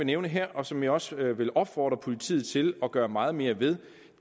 nævne her og som jeg også vil opfordre politiet til at gøre meget mere ved